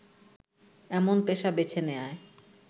এমন পেশা বেছে নেয়ায়